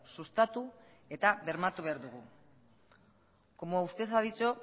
sustatu eta bermatu behar dugu como usted ha dicho